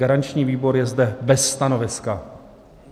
Garanční výbor je zde bez stanoviska.